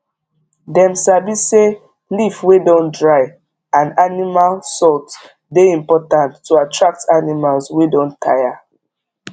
dem sabi say leaf wey don dry and animal salt dey important to attract animals wey don tire